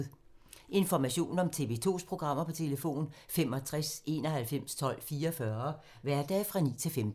Information om TV 2's programmer: 65 91 12 44, hverdage 9-15.